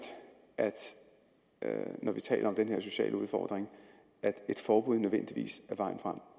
når vi taler om den her sociale udfordring at et forbud nødvendigvis er vejen frem